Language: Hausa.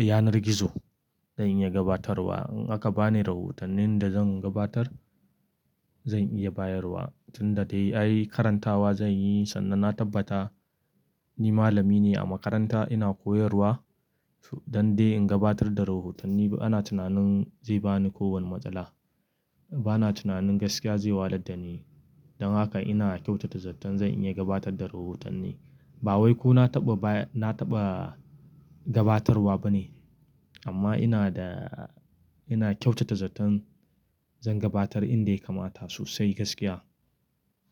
yanar gizo zan iya gabatarwa. In aka bani rahotannin da zan gabatar zan iya bayarwa tun dadai ayy karantawa zan yi sannan na tabbata ni malami ne a makaranta ina koyarwa. Dan dai in gabatar da rahotanni ana tunanin zai bani ko wani matsala. Bana tunanin gaskiya zai walar da ni. Dan haka ina kyautata zaton zan iya gabatar da rahotanni. Ba wai ko na taɓa baya, na taɓa gabatarwa bane amma ina da, ina kyautata zaton zan gabatar inda ya kamata sosai gaskiya.